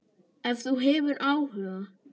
Ef þú hefur áhuga.